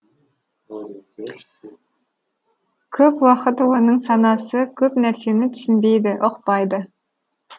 көп уақыт оның санасы көп нәрсені түсінбейді ұқпайды